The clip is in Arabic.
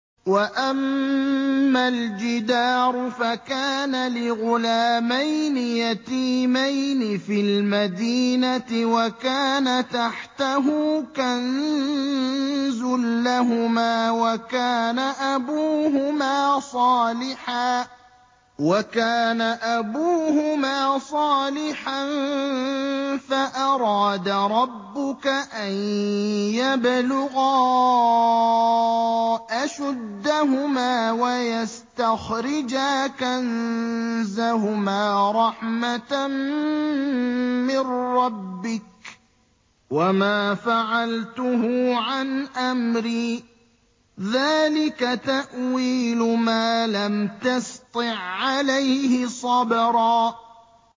وَأَمَّا الْجِدَارُ فَكَانَ لِغُلَامَيْنِ يَتِيمَيْنِ فِي الْمَدِينَةِ وَكَانَ تَحْتَهُ كَنزٌ لَّهُمَا وَكَانَ أَبُوهُمَا صَالِحًا فَأَرَادَ رَبُّكَ أَن يَبْلُغَا أَشُدَّهُمَا وَيَسْتَخْرِجَا كَنزَهُمَا رَحْمَةً مِّن رَّبِّكَ ۚ وَمَا فَعَلْتُهُ عَنْ أَمْرِي ۚ ذَٰلِكَ تَأْوِيلُ مَا لَمْ تَسْطِع عَّلَيْهِ صَبْرًا